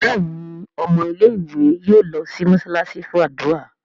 Béèni ọmọ ilé ìwé yóò ló sì mosalasi fún ádùrá.